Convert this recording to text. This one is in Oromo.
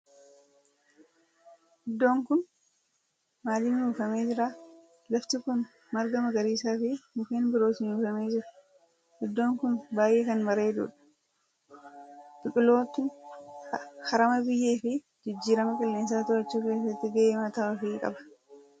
Iddoon kun maalin uwwifamee jira? Lafti kun marga magariisaa fi mukkeen birootin uwwifamee jira. Iddoo kun baayyee kan bareedudha. Biqiltoonni harama biyyee fi jijjiirama qileensaa to'achuu keessatti gahee mataa ofii qaba.